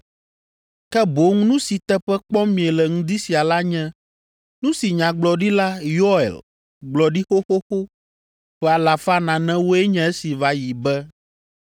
Ke boŋ nu si teƒe kpɔm miele ŋdi sia la nye nu si Nyagblɔɖila Yoel gblɔ ɖi xoxoxo ƒe alafa nanewoe nye esi va yi be,